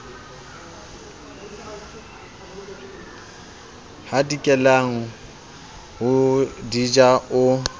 hadikelang ho di ja o